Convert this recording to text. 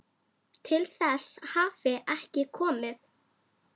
Til þess hafi ekki komið.